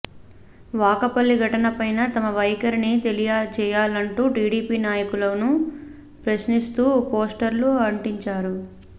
వాకపల్లి ఘటనపై తమ వైఖరిని తెలియచేయాలంటూ టిడిపి నాయకులను ప్రశ్నిస్తూ పోస్టర్లు అంటించారు